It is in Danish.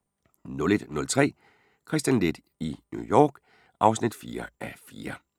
01:03: Kristian Leth i New York (4:4) (Afs. 4)*